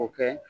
O kɛ